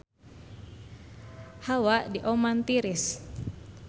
Hawa di Oman tiris